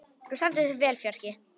Þú stendur þig vel, Fjarki!